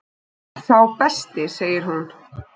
Sá besti segir hún.